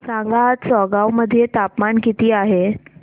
सांगा आज चौगाव मध्ये तापमान किता आहे